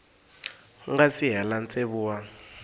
nga si hela tsevu wa